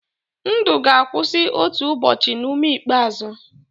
ndụ ga-akwụsị otu ụbọchị na ume ikpeazụ.